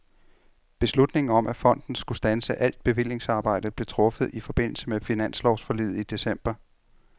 Beslutningen om at fonden skulle standse alt bevillingsarbejde blev truffet i forbindelse med finanslovsforliget i december.